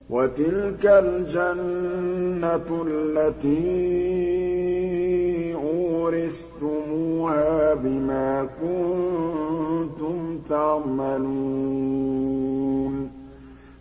وَتِلْكَ الْجَنَّةُ الَّتِي أُورِثْتُمُوهَا بِمَا كُنتُمْ تَعْمَلُونَ